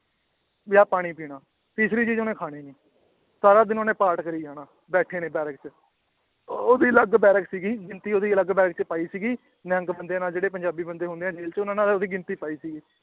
ਜਾਂ ਪਾਣੀ ਪੀਣਾ, ਤੀਸਰੀ ਚੀਜ਼ ਉਹਨੇ ਖਾਣੀ ਨੀ ਸਾਰਾ ਦਿਨ ਉਹਨੇ ਪਾਠ ਕਰੀ ਜਾਣਾ ਬੈਠੇ ਨੇ ਬੈਰਕ 'ਚ ਉਹਦੀ ਅਲੱਗ ਬੈਰਕ ਸੀਗੀ ਉਹਦੀ ਅਲੱਗ ਬੈਰਕ 'ਚ ਪਾਈ ਸੀਗੀ ਨਿਹੰਗ ਬੰਦੇ ਨਾਲ ਜਿਹੜੇ ਪੰਜਾਬੀ ਬੰਦੇ ਹੁੰਦੇ ਆ ਜੇਲ੍ਹ 'ਚ ਉਹਨਾਂ ਨਾਲ ਉਹਦੀ ਗਿਣਤੀ ਪਾਈ ਸੀਗੀ